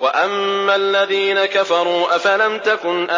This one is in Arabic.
وَأَمَّا الَّذِينَ كَفَرُوا أَفَلَمْ تَكُنْ